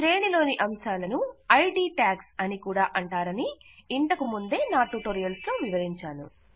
శ్రేణి లోని అంశాలను ఐడి ట్యాగ్స్ అని కూడా అంటారని ఇదివరకు నా ట్యుటోరియల్స్ లో వివరించాను